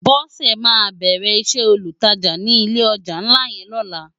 Bose má bèrè isè ólútàjá ni ilé òjá nlá yèn lòlá